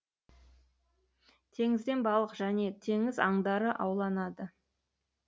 теңізден балық және теңіз аңдары ауланады